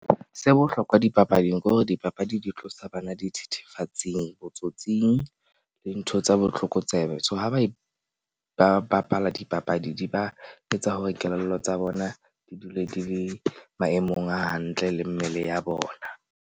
Se bohlokwa dipapading ke hore dipapadi di tlosa bana dithethefatsing, botsotsing le ntho tsa botlokotsebe. So ha ba ba bapala dipapadi di ba etsa hore kelello tsa bona di dule di le maemong a hantle le mmele ya bona.